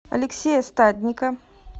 алексея стадника